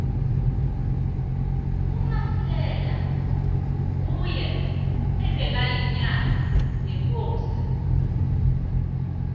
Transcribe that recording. umasilela nguye ebekayinyanga yekosini